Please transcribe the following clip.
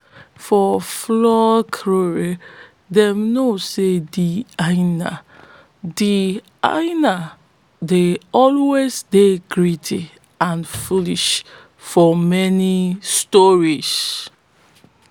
for folklore dey know sey de hyena de hyena dey always dey greedy and foolish for many story